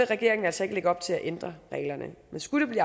regeringen altså ikke lægge op til at ændre reglerne men skulle det